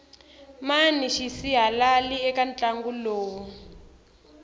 mani xisihalali eka ntlangu lowu